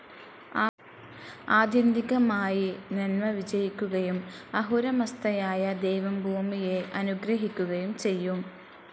ആത്യന്തികമായി നന്മ വിജയിക്കുകയും അഹുരമസ്‌ഥയായ ദൈവം ഭൂമിയെ അനുഗ്രഹിക്കുകയും ചെയ്യും.